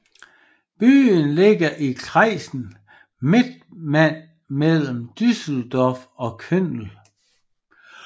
Byen ligger i kreisen Mettmann mellem Düsseldorf og Köln